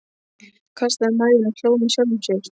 Kastaði mæðinni og hló með sjálfum sér.